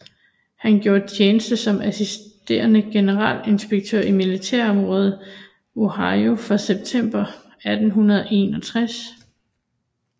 Han gjorde tjeneste som assisterende generalinspektør i militærområdet Ohio fra september 1861